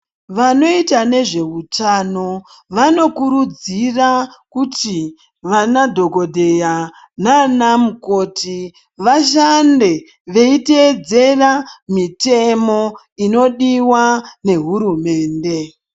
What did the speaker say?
Vanoita ngezvehutano, vanokurudzira kuti vana dhogodheya naana mukoti vashande veyitedzera mitemo inodiwa nehurumende.